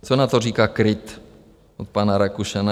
Co na to říká KRIT od pana Rakušana?